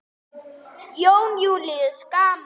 Jón Júlíus: Gaman?